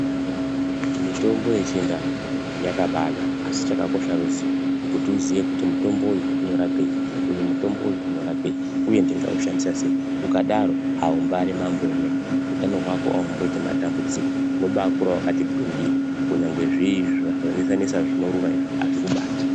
Mutombo yechindau yakabaanaka asi chakakosha kuziva kuti mutombo uyu unorapei uye ndingaushandisa sei. Ukadaro unenge uri mambo wemene utano hwako haunyanyi kuita matambudziko unobaakura wakati gwindiri kunyangwe zviri zvinonesa nesa izvi azvikubati.